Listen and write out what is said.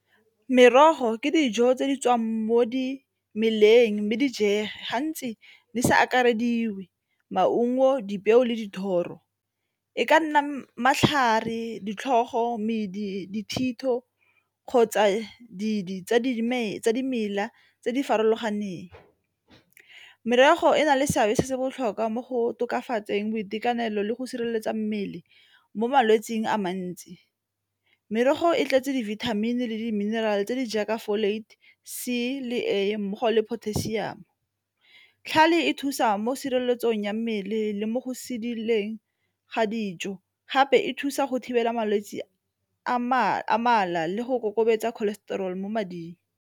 Merogo ke dijo tse di tswang mo dimeleng mme di jega gantsi di sa akarediwe, maungo, dipeo le dithoro. E ka nna matlhare, ditlhogo, medi, dithito kgotsa dimela dimela tse di farologaneng. Merogo e na le seabe se se botlhokwa mo go tokafatseng boitekanelo le go sireletsa mmele mo malwetsing a mantsi merogo e tletse dibithamini le di-mineral-e tse di jaaka C le A mmogo le potassium. Tlhale e thusa mo tshireletsong ya mmele le mo go sedileng ga dijo gape e thusa go thibela malwetse a mala le go ikokobetsa cholesterol mo mading.